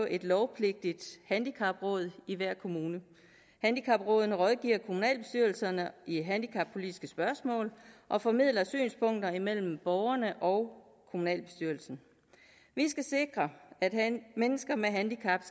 et lovpligtigt handicapråd i hver kommune handicaprådene rådgiver kommunalbestyrelserne i handicappolitiske spørgsmål og formidler synspunkter imellem borgerne og kommunalbestyrelsen vi skal sikre at mennesker med handicap